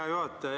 Hea juhataja!